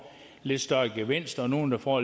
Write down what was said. lidt større gevinst og nogle der får